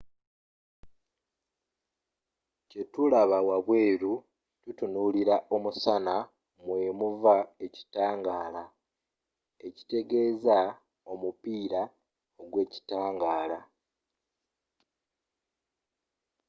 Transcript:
kye tulaba wabweeru bwe tutunuulira omusana mwe muva ekitangaala ekitegeeza omupiira ogw’ekitangaala